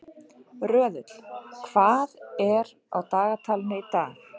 Röðull, hvað er á dagatalinu í dag?